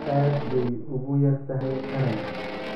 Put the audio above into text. Aad bay ugu yar tahay qaranka.